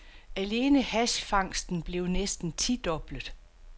Alene hashfangsten blev næsten tidoblet.